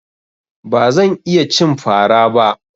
Ba zan iya cin fara ba.